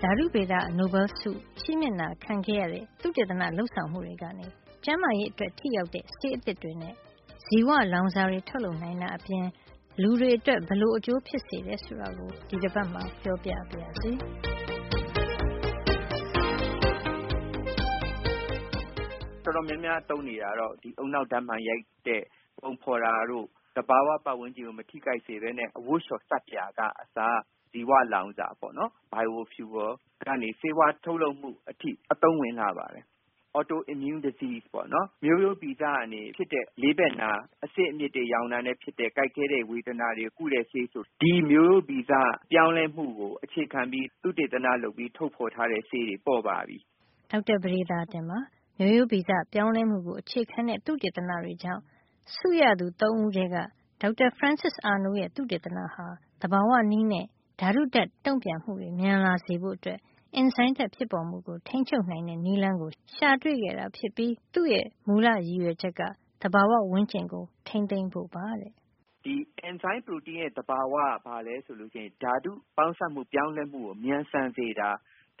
ဓါတုဗေဒ နိုဘဲလ်ဆုချီးမြှင့်တာခံခဲ့ရတဲ့ သုတေသန လုပ်ဆောင်မှုတွေကနေ ကျန်းမာရေး အတွက် ထိရောက်တဲ့ ဆေးအသစ်တွေနဲ့ ဇီဝလောင်စာတွေ ထုတ်နိုင်တာအပြင် လူသားတွေ အတွက် ဘယ်လို အကျိုးဖြစ်စေတယ် ဆိုတာကို ဒီတပတ်မှာ ပြောပြပါရစေ။ ဒေါက်တာပဒေသာတင်။ ။“တော်တော်များများ သုံးနေတာကတော့ ဒီဦးနှောက်ဓါတ်မှန်ရိုက်တဲ့ ပုံဖေါ်တာတို့၊ သဘာဝပတ်ဝန်းကျင်ကို မထိခိုက်စေပဲနဲ့ သုံးလို့ရတဲ့ အဝတ်လျှော်ဆပ်ပြာကအစ၊ ဇီဝလောင်စာ bio feul ကနေ ဆေးဝါးထုတ်လုပ်မှု အထိ အသုံးဝင်ပါတယ်။ ဆေးဝါးထဲမှာ autoimmune disease မျိုးရိုးဗီဇကနေ ဖြစ်တဲ့ လေးဘက်နာ၊ အဆစ်အမြစ်တွေ ယောင်တာနဲ့ဖြစ်တဲ့ ကိုက်ခဲတဲ့ ဝေဒနာတွေကို ကုတဲ့ဆေးတွေဆို ဒီမျိုးရိုးဗီဇ ပြောင်းလဲမှုကို အခြေခံပြီး သုတေသန လုပ်ပြီး ထုတ်ဖေါ်ထားတဲ့ ဆေးတွေ ဖြစ်ပါတယ်။” ဒေါက်တာပဒေသာတင်ပါ။ မျိုးရိုးဗီဇပြောင်းလဲမှုကို အခြေခံတဲ့သုတေသနတွေကြောင့် ဆုရသူ ၃ ဦးထဲက ဒေါက်တာဖရန်စစ်အာနိုး ရဲ့ သုတေသနဟာ သဘာဝနည်းနဲ့ ဓါတုဓါတ် တုန့်ပြန်မှုတွေ မြန်လာစေဖို့ အင်ဇိုင်းဓါတ် ဖြစ်ပေါ်မှုကို ထိန်းချုပ်နိုင်တဲ့ နည်းလမ်းကို ရှာတွေ့ခံတာဖြစ်ပြီး သူ့ရဲ့ မူလရည်ရွယ်ချက်က သဘာဝဝန်းကျင်ကို ထိန်းသိမ်းဖို့ပါတဲ့။ ဒေါက်တာပဒေသာတင်။ ။“ဒီအင်ဇိုင်းပရိုတိန်းရဲ့ သဘာဝက ဘာလဲဆိုလို့ရှိရင် ဓါတု ပေါင်းစပ်မှု ပြောင်းလဲမှုကို မြန်ဆန်စေတာ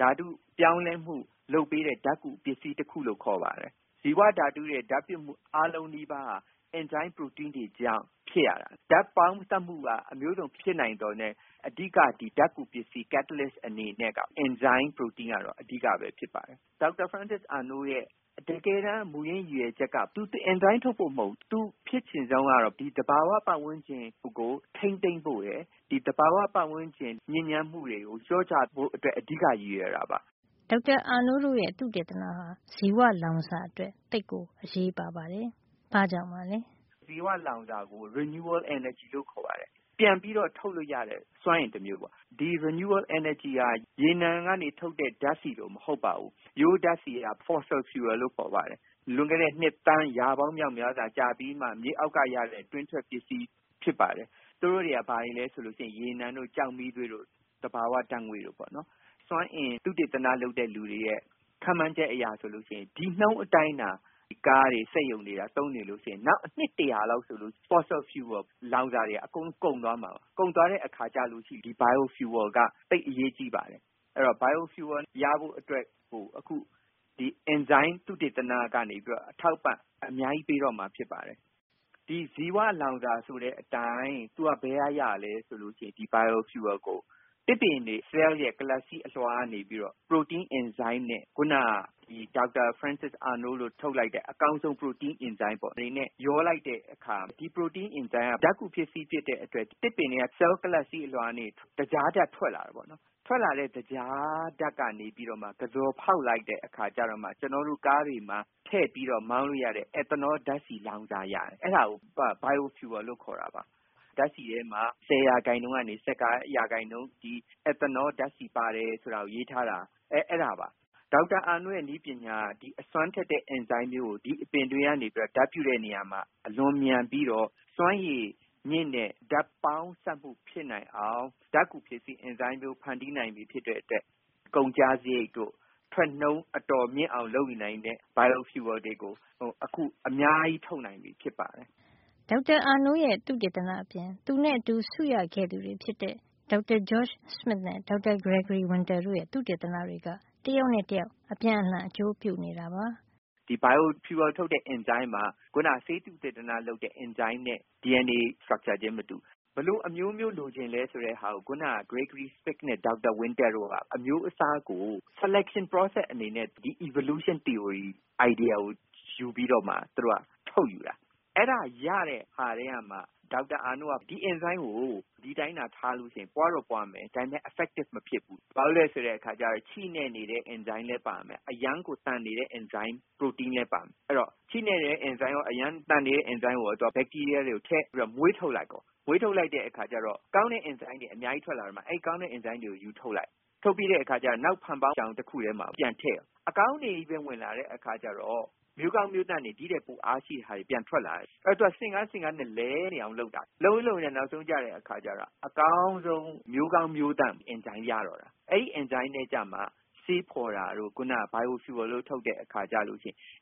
၊ ဓါတု ပြောင်းလဲမှု လုပ်ပေးတဲ့ ဓါတ်ကူ ပစ္စည်းတခုလို့ ခေါ်ပါတယ်။ ဒီဇီဝဓါတုရဲ့ ဓါတ်ပြုမှု အားလုံးနီးပါးဟာ အင်ဇိုင်းပရိုတိန်းတွေကြောင့် ဖြစ်ရတာ။ ဓါတ်ပေါင်းစပ်မှုက အမျိုးစုံ ဖြစ်နိုင်သော်ငြားလည်း အဓိက ဒီဓါတ်ကူ ပစ္စည်း ကက်တလစ် အနေနဲ့က အင်ဇိုင်း ပရိုတိန်း ကတော့ အဓိကပဲဖြစ်ပါတယ်။ ဒေါက်တာဖရန်းစစ်အာနိုးရဲ့ တကယ်တမ်း မူရင်း ရည်ရွယ်ချက်က သူဒီ အင်ဇိုင်း ထုတ်ဖို့ မဟုတ်ဖူး။ သူအဖြစ်ချင်ဆုံးကတော့ ဒီသဘာဝ ပတ်ဝန်းကျင်ကို ထိန်းသိမ်းဖို့ရယ်၊ ဒီသဘာဝ ပတ်ဝန်းကျင် ညစ်ညမ်းမှုတွေကို လျှော့ချဖို့အတွက် အဓိက ရည်ရွယ်တာပါ။” ဒေါက်တာ Arnold တို့ရဲ့ သုတေသနဟာ ဇီဝလောင်စာအတွက် သိပ် အရေးပါပါတယ်။ ဘာ့ကြောင့်ပါလဲ။ ဒေါက်တာပဒေသာတင်။ ။“ဇီဝလောင်စာကို renewable energy လို့ခေါ်ပါတယ်။ ပြန်လည် ပြီးထုတ်လို့ ရတဲ့ စွမ်းအင်တမျိုးပေါ့။ ဒီ renewable energy ပြန်ပြည့်မြဲစွမ်းအင်ဟာ ရေနံကနေ ထုတ်တဲ့ ဓါတ်ဆီတို့လို မဟုတ်ပါဘူး။ ရိုးရိုးဓါတ်ဆီကို fossil fuel လို့ ခေါ်ပါတယ်။ လွန်ခဲ့တဲ့ နှစ် သန်း ရာပေါင်းမြောက်များစွာ ကြာပြီးမှ မြေအောက်ကရတဲ့ တွင်းထွက်ပစ္စည်း ဖြစ်ပါတယ်။ သူတို့တွေက ဘာတွေလဲ ဆိုတော့ ရေနံတို့၊ ကျောက်မီးသွေးတို့၊ သဘာဝ ဓါတ်ငွေ့တို့ပေါ့နော်။ စွမ်းအင် သုတေသန လုပ်တဲ့ လူတွေရဲ့ ခန့်မှန်းချက် အရဆိုလို့ရှိရင်၊ ဒီနှုန်းအတိုင်းသာ ကားတွေ စက်ရုံတွေက သုံးနေရင် နောက်အနှစ်တရာလောက် ဆိုရင် fossil fuel လောင်စာတွေဟာ အကုန် ကုန်သွားမှာပါ။ ကုန်သွားတဲ့ အခါကျရင် bio fuel က သိပ်အရေးကြီးပါတယ်။ အဲဒီတော့ bio fuel ရဖို့အတွက် ဆို ဒီအင်ဇိုင်းသုတေသနကနေ အထောက်အပံ့ အများကြီး ပေးတော့မှာ ဖြစ်ပါတယ်။ ဒီဇီဝလောင်စာ ဆိုတဲ့အတိုင်း သူက ဘယ်က ရသလဲဆိုရင် bio fuel ကို သစ်ပင်တွေရဲ့ ဆဲလ် ကလပ်စည်းလွှာကနေ ပြီးတော့ ပရိုတိန်း အင်ဇိုင်းနဲ့ ခုနက ဒေါက်တာ ဖရန်စစ်အာနိုးတို့ ထုတ်လိုက်တဲ့ အကောင်းဆုံး ပရိုတိန်း အင်ဇိုင်းပေါ့၊ အဲဒါတွေနဲ့ ရောလိုက်တဲ့အခါ ဒီပရိုတိန်း အင်ဇိုင်းက ဓါတ်ကူပစ္စည်းဖြစ်တဲ့အတွက် သစ်ပင်တွေက ဆဲလ် ကလပ်စည်း အလွှာကနေ သကြားဓါတ် ထွက်လာတယ်။ ထွက်လာတဲ့ သကြားဓါတ်ကနေ ပြီးတော့မှ ကဇော်ဖေါက်လိုက်တဲ့ အခါ ကျတော့မှ ကျနော်တို့ ကားတွေမှာ ထည့်ပြီးမောင်းလို့ရတဲ့ အက်သနော ဓါတ်ဆီ လောင်စာတွေ ရတယ်။ အဲဒါကို Bio feul လို့ခေါ်တာပါ၊ ဓါတ်ဆီထဲမှာ ၁၀ % ကနေ ၁၅ % အထိ အက်သနော ဓါတ်ဆီ ပါတယ် ဆိုတာတွေ ရေးထားတာ အဲဒါပါ။ ဒေါက်တာအာနိုးရဲ့ နည်းပညာက အစွမ်းထက်တဲ့ အင်ဇိုင်းမျိုးကို ဒီအပင်တွေကနေ ဓါတ်ပြုတဲ့ နေရာမှာ အလွန်မြန်ပြီးတော့ စွမ်းရည် မြင့်တဲ့ ဓါတ်ပေါင်းစပ်မှု ဖြစ်လာ နိုင်အောင် ဓါတ်ကူပစ္စည်းမျိုး အင်ဇိုင်း ဖန်တီးနိုင်သူ ဖြစ်တဲ့အတွက် ကုန်ကျစားရိတ်တို့ ထွက်နှုန်းအတော် မြင့်အောင် လုပ်ယူနိုင်တဲ့ bio fuel တွေတို့ကို အခု အများကြီး ထုတ်ယူနိုင်ပြီ ဖြစ်ပါတယ်။” ဒေါက်တာအာနိုး နဲ့အတူဆုရခဲ့သူတွေ ဖြစ်တဲ့ ဒေါက်တာ ဂျော့စမစ် နဲ့ ဒေါက်တာ ဂရေဂရီဝင်းတား တို့ရဲ့ သုတေသနတွေက တယောက်နဲ့ တယောက်အပြန်အလှန် အကျိုးပြုနေတာပါ။ ဒေါက်တာပဒေသာတင်။ ။“ဒီ bio fuel ထုတ်တဲ့ အင်ဇိုင်းမှာ ခုန ဆေးသုတေသန လုပ်တဲ့ အင်ဇိုင်းနဲ့ DNA တည်ဆောက်ပုံ structure ချင်း မတူဘူး။ ဘယ်လို အမျိုးမျိုး လိုချင်လည်း ဆိုတဲ့ဟာကို ခုနက ဂျော့စမစ်နဲ့ ဒေါက်တာ ဝင်းတားတို့က အမျိုးအစားကို selection process ရွေးချယ်တဲ့ လုပ်ငန်းစဉ် အနေနဲ့ ဒီပြောင်းလဲမှုဖြစ်စဉ် သီအိုရီ evolution theory အိုင်ဒီယာကို ယူပြီးတော့မှ သူတို့က ထုတ်ယူတာ။ အဲဒါကို ရတဲ့ ဟာထဲကမှ ဒေါက်တာ အာနိုးက ဒီအင်ဇိုင်းကို ဒီအတိုင်းသာ ထားလို့ရှိရင် ပွါးတော့ပွါးမယ်။ ဒါပေမယ့် ထိရောက်မှု effect မဖြစ်ဖူး၊ ဘာကြောင့်လည်း ဆိုတော့ အဲဒီမှာ ချိနဲ့နေတဲ့ အင်ဇိုင်းရော အရမ်းကို သန်စွမ်းတဲ့ အင်ဇိုင်းပါ ပါနေတယ်။ အဲဒီတော့ ချိနဲ့တဲ့ အင်ဇိုင်းရော အရမ်းသန်နေတဲ့အင်ဇိုင်းကိုပါ မွေးထုတ်လိုက်ရော၊ မွေးထုတ်လိုက်တဲ့ အခါကျတော့ ကောင်းတဲ့ အင်ဇိုင်းတွေ အများကြီးထွက်လာရင် အဲဒီကောင်းတဲ့အင်ဇိုင်းတွေကို ရွေးထုတ်လိုက်၊ ထုတ်ပြီးရင် နောက် ဖန်ပေါင်းချောင် တခုထဲမှာ ပြန်ထည့်၊ အကောင်းတွေ ချည်းပဲ ဝင်လာတဲ့ အခါကျတော့ မျိုးကောင်း မျိုးသန့်တွေ ဒိထက်ပို အားရှိတာတွေ ပြန်ထွက်လာတယ်။ ဘာကြောင့်လည်း ဆိုတော့ သူက ဆင့်ကဲ ဆင့်ကဲနဲ့ လည်နေအောင် လုပ်တာ။ လုပ်ရင်း လုပ်ရင်းနဲ့ နောက်ဆုံးကျတော့ အကောင်းဆုံး မျိုးကောင်းမျိုးသန့် အင်ဇိုင်းကို ရတယ်။ အဲဒီ အင်ဇိုင်းနဲ့ ကျမှ ဆေးဖေါ်တာတို့ bio fuel တို့ ထုတ်တဲ့ အခါကျရင်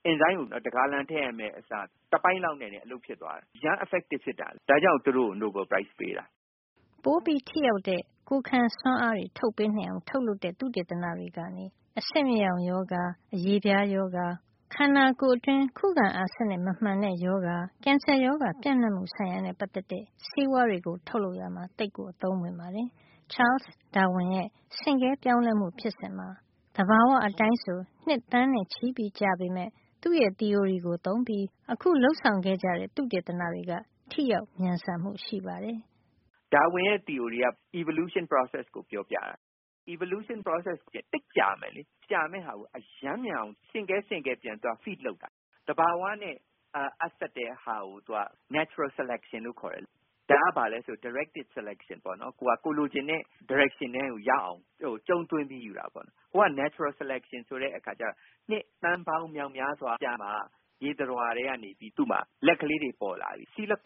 အင်ဇိုင်းကို တဂါလံ ထည့်ရမယ့် အစား တပိုင့်လောက် နဲ့ရင် အလုပ်ဖြစ်သွားမယ်။ အရမ်းထိရောက်တာပဲ။ ဒါကြောင့် သူတို့ကို နိုဘဲလ်ဆု ပေးတာ။” ပိုထိရောက်တဲ့ ကိုယ်ခံစွမ်းအား ထုတ်ပေးနိုင်အောင် လုပ်တဲ့ သုတေသနတွေကနေ အဆစ်မြစ်ယောင်ရောဂါ၊ အရေပြားရောဂါ၊ ခန္ဓာကိုယ်တွင်း ခုခံအားစံနစ် မမှန်တဲ့ရောဂါ၊ ကင်ဆာရောဂါ ပျံ့နှံမှု ထိန်းချုပ်မှုဆိုင်ရာနဲ့ ပတ်သက်တဲ့ ဆေးဝါးတွေ ထုတ်လုပ်ရာမှာအသုံးဝင် ပါတယ်။ Charles Darwin ရဲ့ ဆင့်ကဲပြောင်းလဲမှုဖြစ်စဉ်မှာ သဘာဝအတိုင်းဆို နှစ်သန်းနဲ့ချီကြာပေမယ့် သူ့ရဲ့ သီအိုရီကို သုံးပြီး အခုလုပ်ဆောင်တဲ့ သုတေသနတွေက ထိရောက်မြန်ဆန်မှု ရှိပါတယ်။ ဒေါက်တာပဒေသာတင်။ ။“ ဒါဝင်ရဲ့သီအိုရီက evolution process ကိုပြောပြတာ။ evolution process ပြောင်းလဲမှု ဖြစ်စဉ်က သိပ်ကြာမယ်လေ။ ဒီလို ကြာမယ့်ဟာကို အရမ်းမြန်အောင် ဆင့်ကဲ ဆင့်ကဲ ပြန်ပြီးသူက feed လုပ်တာ။ သဘာဝနဲ့ အပ်စပ်တဲ့ဟာကို သူက natural selection လို့ခေါ်တယ်။ အခု သူတို့ဟာက ဒါက directed selection ခေါ်တယ်။ ကိုယ်လိုချင်တဲ့ ဒါရိုက်ရှင်ထဲကို ရောက်အောင် သူ့ကို ကြုံးသွင်းပြီး ယူတာ ပေါ့နော်။ တကယ်လို့ သဘာဝအတိုင်း ရွေးချယ်တဲ့ natural selection ဆိုတာက နှစ်သန်းပေါင်း မြောက်များစွာ ကြာမှ ဥပမာ စီးလကန့် - ရေသတ္တဝါကနေ သူ့မှာ လက်ကလေးတွေ ပေါ်လာတယ်။ လွန်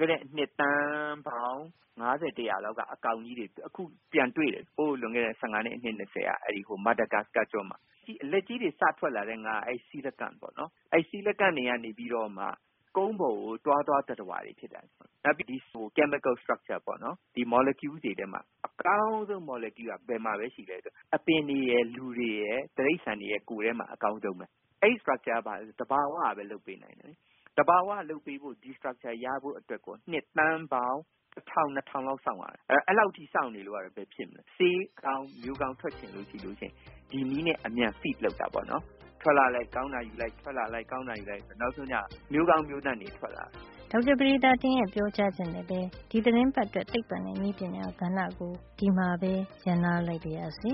ခဲ့တဲ့ နှစ်သန်းပေါင်း ၅၀- ၁၀၀ လောက်ကပေါ်တဲ့ အကောင် တွေကို အခု ပြန်တွေ့တယ်။ လွန်ခဲ့တဲ့ ၁၅ နှစ် အနှစ် ၂၀ လောက်က။ မာဒါဂတ်စကား ကျွန်းမှာ လက်ကြီးတွေ စထွက်လာတဲ့ ငါးပါ။ သူတို့ကနေပြီးတော့မှာ ကုန်းပေါ်ကို တွားသွားတဲ့ သတ္တဝါတွေ ဖြစ်လာတယ်။ နောက်ပြီး သူတို့ရဲ့ ဓါတုပါဝင် တည်ဆောက်ပုံပေါ့နော် မော်လီကျူးတွေ။ သူတို့မှာ အကောင်းဆုံး မော်လီကျူးက ဘယ်မှာ ရှိသလဲ ဆိုရင် အပင်တွေရယ်၊ လူတွေရယ်၊ တိရိစ္ဆာန်တွေရယ် ရဲ့ ကိုယ်ထဲမှာ အကောင်းဆုံးပဲ။ အဲဒီ structure ကို သဘာဝကပဲ လုပ်ပေးတယ်။ သဘာဝက လုပ်ပေးဖို့ ဒီ structure တည်ဆောက်ပုံ ရဖို့ ဆိုရင် နှစ်သန်းပေါင်း ထောင်နဲ့ချီ စောင့်ရမယ်။ အဲဒီလောက် မစောင့်နိုင်တော့ မျိုးကောင်းတွေ ဆေးကောင်းတွေ ထွက်ဖို့ ဒီနည်းနဲ့ အမြန် feed လုပ်တာ ပေါ့နော်။ ထွက်လာလိုက် ကောင်းတာ ယူလိုက်။ နဲ့ နောက်ဆုံးကျတော့ မျိုးကောင်း မျိုးသန့်တွေ ထွက်လာ နိုင်တာပါ။” ဒေါက်တာပဒေသာတင်ရဲ့ ပြောကြားချက်နဲ့ပဲ ဒီသီတင်းပတ်အတွက် သိပ္ပံနဲ့ နည်းပညာကဏ္ဍကို ဒီမှာပဲ ရပ်နားလိုက်ပါရစေ